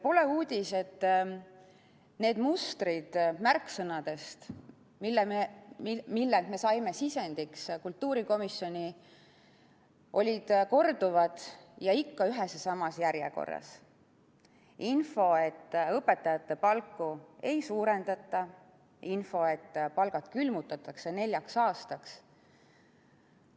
Pole uudis, et need mustrid märksõnadest, mille me saime sisendiks kultuurikomisjoni, olid korduvad ja ikka ühes ja samas järjekorras: info, et õpetajate palku ei suurendata, info, et palgad külmutatakse neljaks aastaks.